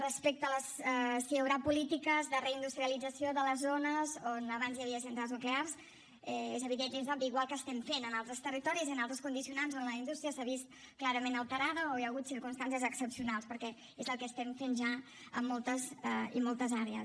respecte a si hi haurà polítiques de reindustrialització de les zones on abans hi havia centrals nuclears és evident és obvi igual que ho estem fent en altres territoris i en altres condicionants on la indústria s’ha vist clarament alterada o hi ha hagut circumstàncies excepcionals perquè és el que estem fent ja en moltes i moltes àrees